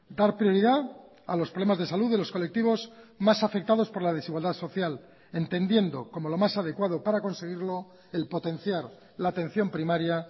dar prioridad a los problemas de salud de los colectivos más afectados por la desigualdad social entendiendo como lo más adecuado para conseguirlo el potenciar la atención primaria